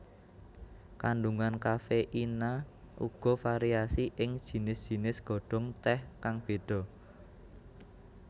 Kandungan kafeina uga variasi ing jinis jinis godhong teh kang beda